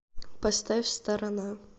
поставь сторона